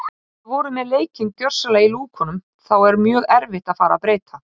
Hann tók undir eyruggana og sér þar enn svarta bletti á ýsunni.